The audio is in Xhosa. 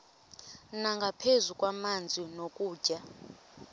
nangaphezu kwamanzi nokutya